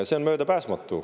See on möödapääsmatu.